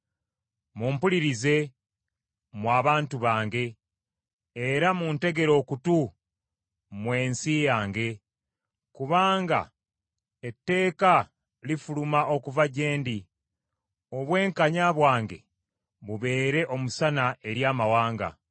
“Mumpulirize, mmwe abantu bange; era muntegere okutu mmwe ensi yange. Kubanga etteeka lifuluma okuva gye ndi, obwenkanya bwange bubeere omusana eri amawanga.